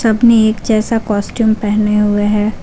सबने एक जैसा कॉस्ट्यूम पहने हुए हैं।